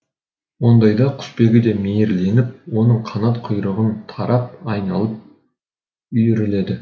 ондайда құсбегі де мейірленіп оның қанат құйрығын тарап айналып үйіріледі